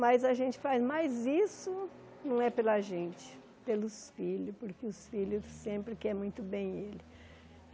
Mas a gente faz mais isso, não é pela gente, pelos filhos, porque os filhos sempre querem muito bem ele.